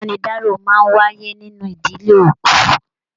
Ibanidaro máa n wáyé nínú ìdílé òkú.